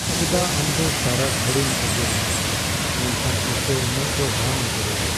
ᱪᱮᱫᱟᱜ ᱟᱢ ᱫᱚ ᱥᱟᱨᱟ ᱜᱷᱩᱲᱤᱢ ᱮᱜᱮᱨᱤᱧᱟ ᱢᱮᱱᱠᱷᱟᱱ ᱛᱤᱥᱦᱚᱸ ᱚᱱᱟᱦ ᱫᱚ ᱵᱟᱢ ᱮᱜᱮᱨᱤᱭᱟ ?